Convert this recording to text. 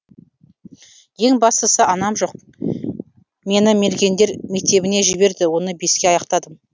ең бастысы анам жоқ мені мергендер мектебіне жіберді оны беске аяқтадым